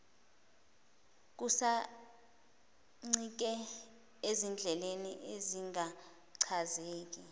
kusancike ezindleleni ezingachazeki